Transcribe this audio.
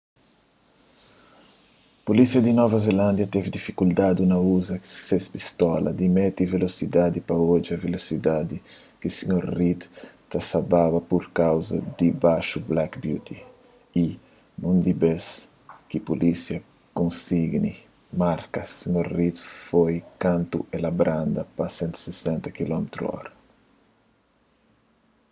pulísia di nova zelándia teve difikuldadi na uza ses pistola di midi velosidadi pa odja velosidadi ki sr. reid sa ta baba pur kauza di baxu black beauty y úniku bês ki pulísia konisgi marka sr. reid foi kantu el branda pa 160km/hr